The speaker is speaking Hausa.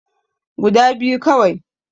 Guda biyu kawai